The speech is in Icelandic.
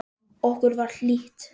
Okkur var hlýtt.